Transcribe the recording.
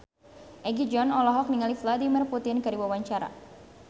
Egi John olohok ningali Vladimir Putin keur diwawancara